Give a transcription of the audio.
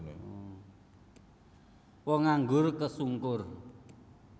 Wong nganggur kesungkur